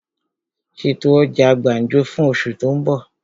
Ṣètò ọjà gbàǹjo fún osù tó ń bọ̀!